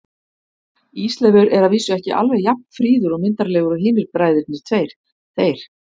Ísleifur er að vísu ekki alveg jafn fríður og myndarlegur og hinir bræðurnir tveir, þeir